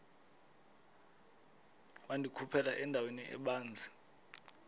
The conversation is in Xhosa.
wandikhuphela endaweni ebanzi